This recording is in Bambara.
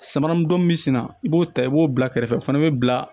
Samara min don min bɛ sen na i b'o ta i b'o bila kɛrɛfɛ o fana bɛ bila